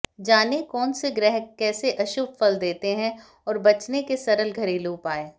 जानें कौन से ग्रह कैसे अशुभ फल देते हैं और बचने के सरल घरेलू उपाय